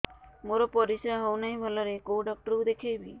ମୋର ପରିଶ୍ରା ହଉନାହିଁ ଭଲରେ କୋଉ ଡକ୍ଟର କୁ ଦେଖେଇବି